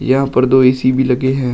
यहां पर दो ए_सी भी लगे हैं।